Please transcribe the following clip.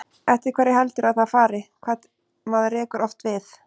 Eftir hverju heldurðu að það fari, hvað maður rekur oft við?